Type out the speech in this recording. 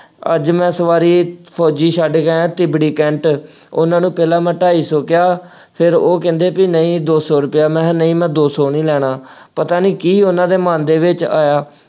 ਅੱਜ ਮੈਂ ਸਵਾਰੀ ਫੌਜੀ ਛੱਡ ਕੇ ਆਇਆਂ, ਤਿਬੜੀ ਕੈਂਟ, ਉਹਨਾ ਨੂੰ ਪਹਿਲਾ ਮੈਂ ਢਾਈ ਸੌ ਕਿਹਾ, ਫੇਰ ਉਹ ਕਹਿੰਦੇ ਬਈ ਨਹੀਂ ਦੋ ਸੌ ਰੁਪਇਆ, ਮੈਂ ਕਿਹਾ ਨਹੀਂ ਮੈਂ ਦੋ ਸੌ ਨਹੀਂ ਲੈਣਾ। ਪਤਾ ਨਹੀਂ ਕੀ ਉਹਨਾ ਦੇ ਮਨ ਦੇ ਵਿੱਚ ਆਇਆ,